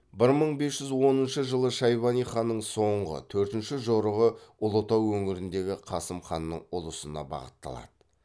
бір мың бес жүз оныншы жылы шайбани ханның соңғы төртінші жорығы ұлытау өңіріндегі қасым ханның ұлысына бағытталады